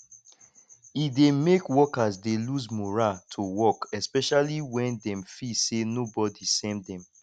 e dey make workers dey lose morale to work especially when dem feel say nobody send them